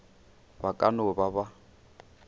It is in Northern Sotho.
ba ka no ba ba